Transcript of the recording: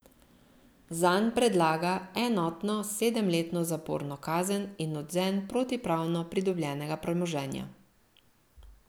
Zanj predlaga enotno sedemletno zaporno kazen in odvzem protipravno pridobljenega premoženja.